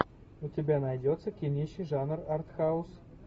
у тебя найдется кинище жанр артхаус